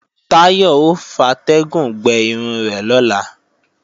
Táyọ̀ ò fatẹ́gùn gbẹ irun rẹ̀ lọ́la